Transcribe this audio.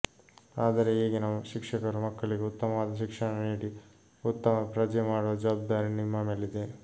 ಆದರೆ ಈಗಿನ ಶಿಕ್ಷಕರು ಮಕ್ಕಳಿಗೆ ಉತ್ತಮವಾದ ಶಿಕ್ಷಣ ನೀಡಿ ಉತ್ತಮ ಪ್ರಜೆ ಮಾಡುವ ಜವಾಬ್ದಾರಿ ನಿಮ್ಮ ಮೇಲಿದೆ